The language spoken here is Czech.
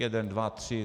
Jeden, dva, tři.